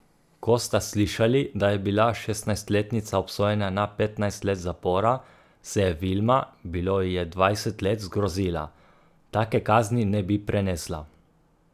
Ko sta slišali, da je bila šestnajstletnica obsojena na petnajst let zapora, se je Vilma, bilo ji je dvajset let, zgrozila: 'Take kazni ne bi prenesla.